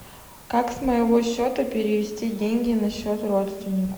как с моего счета перевести деньги на счет родственнику